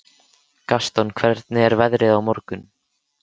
Gaston, hvernig er veðrið á morgun?